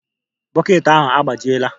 Bọket ahụ agbajiela